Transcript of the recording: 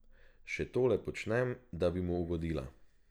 Še tole počnem, da bi mu ugodila.